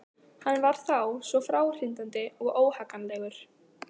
Hann var þá svo fráhrindandi og óhagganlegur.